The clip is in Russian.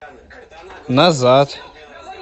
назад